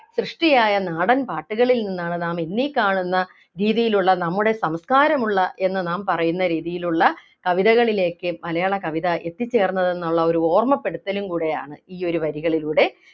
സൃഷ്ടിയായ നാടൻപാട്ടുകളിൽ നിന്നാണ് നാം ഇന്നീ കാണുന്ന രീതിയിലുള്ള നമ്മുടെ സംസ്കാരമുള്ള എന്ന് നാം പറയുന്ന രീതിയിലുള്ള കവിതകളിലേക്ക് മലയാള കവിത എത്തിച്ചേർന്നതെന്നുള്ള ഒരു ഓർമ്മപ്പെടുത്തലും കൂടെയാണ് ഈ ഒരു വരികളിലൂടെ